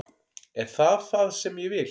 Er það það sem ég vil?